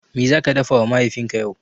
Me zaka dafawa Mahaifinka yau?